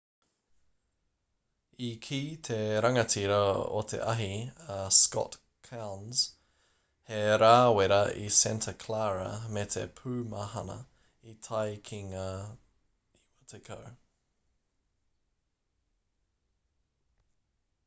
i kī te rangatira o te ahi a scott kouns he rā wera i santa clara me te pūmahana i tae ki ngā 90